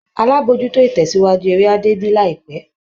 Alábòójútó-ìtẹ̀síwájú eré á débí láìpẹ́